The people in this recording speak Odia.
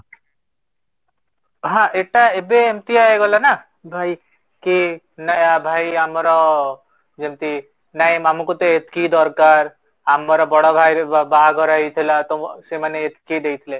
ହଁ, ଏଟା ଏବେ ଏମିତିଆ ହେଇଗଲା ନା ଭାଇ କି ନ୍ୟାୟ ଭାଇ ଆମର ଯେମିତି ନାଇଁ ଆମକୁ ଏତିକି ଦରକାର, ଆମ ବଡ଼ ଭାଇର ବାହାଘର ହେଇଥିଲା ତ ସେମାନେ ଏତିକି ଦେଇଥିଲେ